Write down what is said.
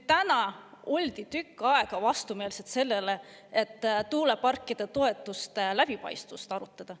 Täna oldi tükk aega vastu sellele, et tuuleparkide toetuste läbipaistvust arutada.